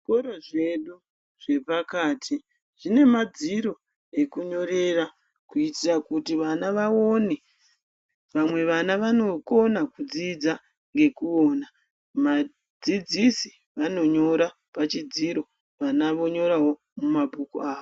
Zvikoro zvedu zvepakati zvine madziro ekunyorera kuitira kuti vana vaone. Vamwe vana vanokona kudzidza nekuona. Vadzidzisi vanonyora pachidziro, vana vonyorawo mumabhuku avo.